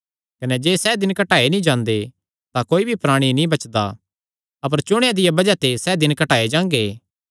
कने जे सैह़ दिन घटाये नीं जांदे तां कोई भी प्राणी नीं बचदा अपर चुणेयां दिया बज़ाह ते सैह़ दिन घटाये जांगे